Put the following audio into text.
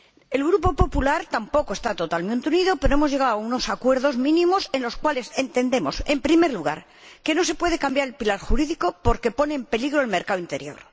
El Grupo Popular tampoco está totalmente unido, pero hemos llegado a unos acuerdos mínimos, en los cuales entendemos, en primer lugar, que no se puede cambiar el pilar jurídico, porque pone en peligro el mercado interior.